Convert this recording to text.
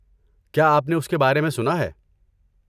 کیا آپ نے اس کے بارے میں سنا ہے؟